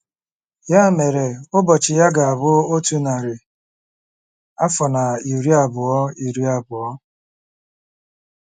Ya mere, ụbọchị ya ga-abụ otu narị afọ na iri abụọ iri abụọ. ”